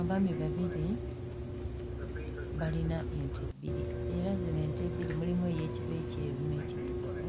Abaami babiri balina ente bbiri era zino ente bbiri mulimu ey'ekiba ekyeru n'ekiddugavu